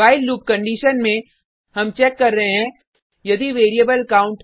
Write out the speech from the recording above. while loop condition में हम check कर रहे हैं यदि वेरिएबल काउंट